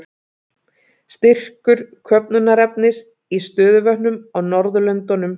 Styrkur köfnunarefnis í stöðuvötnum á Norðurlöndunum.